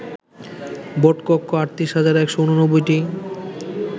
ভোটকক্ষ ৩৮ হাজার ১৮৯টি